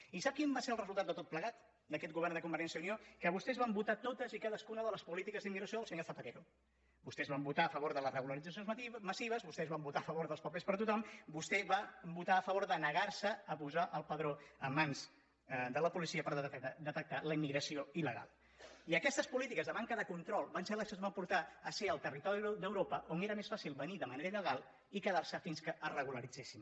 i sap quin va ser el resultat de tot plegat d’aquest govern de convergència i unió que vostès van votar totes i cadascuna de les polítiques d’immigració del senyor zapatero vostès van votar a favor de les regularitzacions massives vostès van votar a favor dels papers per a tothom vostè va votar a favor de negar se a posar el padró en mans de la policia per detectar la immigració il·i aquestes polítiques de manca de control van ser les que ens van portar a ser el territori d’europa on era més fàcil venir de manera il·legal i quedar se fins que es regularitzessin